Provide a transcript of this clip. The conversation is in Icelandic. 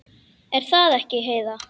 Er það ekki, Heiða?